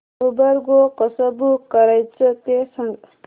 Uber Go कसं book करायचं ते सांग